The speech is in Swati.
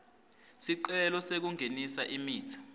sicelo sekungenisa imitsi